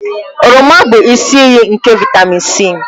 Oroma bụ isi iyi nke vịtamịn C.